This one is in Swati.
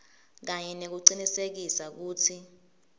kanye nekucinisekisa kutsi